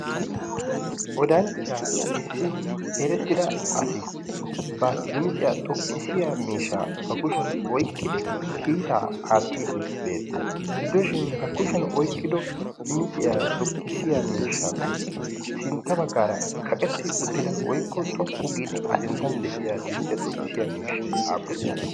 odanchchaa issi erettida asi ba dimiciyaa xoqqisiya miishshaa ba kushiyan oiqqidi kiitaa aattiiddi beettees gidooshin ha kushiyan oiqqido dimiciyaa xoqqisiya miishshaappe sintta baggaara kaqetti uttida woikko xoqqu giidi asinttan de'iya dimiciyaa xoqqisiya miishshai aappunee?